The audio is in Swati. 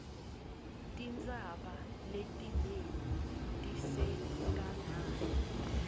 tintsaba letinengi tisenkhangala